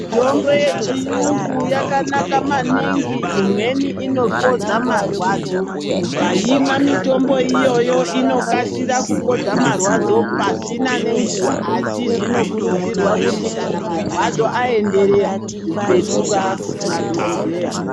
Mitombo yechiyungu yakanaka maningi imweni inopodza marwadzo. Ukaimwa mitombo iyoyo inokase kupedza marwadzo pasina nenguva asi zvinokurudzirwa kuti kana marwadzo ayenderera petuka kuna dhokodheya.